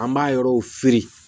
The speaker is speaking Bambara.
An b'a yɔrɔw fe yen